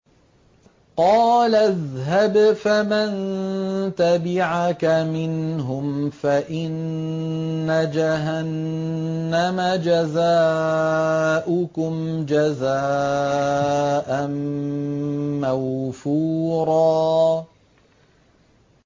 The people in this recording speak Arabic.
قَالَ اذْهَبْ فَمَن تَبِعَكَ مِنْهُمْ فَإِنَّ جَهَنَّمَ جَزَاؤُكُمْ جَزَاءً مَّوْفُورًا